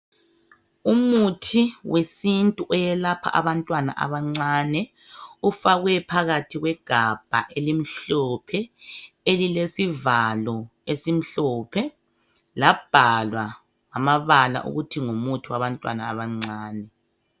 Umuthi wesintu oyelapha abantwana abancane, ufakwe phakathi kwegabha elimhlophe elilesivalo esimhlophe, labhalwa ngamabala ukuthi ngumuthi wabantwana abancane.